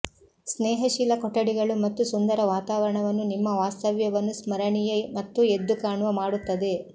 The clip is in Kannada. ಸ್ನೇಹಶೀಲ ಕೊಠಡಿಗಳು ಮತ್ತು ಸುಂದರ ವಾತಾವರಣವನ್ನು ನಿಮ್ಮ ವಾಸ್ತವ್ಯವನ್ನು ಸ್ಮರಣೀಯ ಮತ್ತು ಎದ್ದುಕಾಣುವ ಮಾಡುತ್ತದೆ